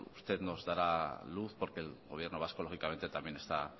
usted nos dará luz porque el gobierno vasco lógicamente también está